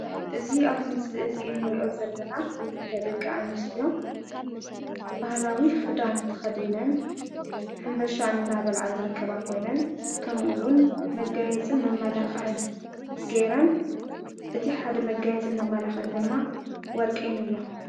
እዚ ኣብዙይ ምስሊ እዙይ እንርእዮ ዘለና ክልተ ደቂ አንስትዮ ባህላዊ ኽዳን ተኸዲነን ሕንባሻ እንዳበልዓ ዝርከባ ኾይነን ከምኡውን መጋየፅን መመላኽዕን ገይረን እቲ ሓደ መጋየፅን መመላኽዕን ድማ ወርቂ ንብሎ ።